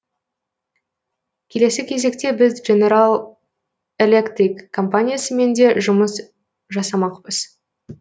келесі кезекте біз дженерал электрик компаниясымен де жұмыс жасамақпыз